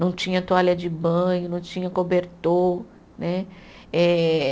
Não tinha toalha de banho, não tinha cobertor né. Eh